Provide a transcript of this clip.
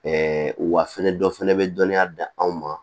wa fɛnɛ dɔ fɛnɛ be dɔnniya d'an ma